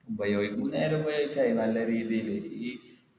ഉപയോഗിക്കുമ്പോ നേരെ ഉപയോഗിച്ച മതി നല്ല രീതിയില്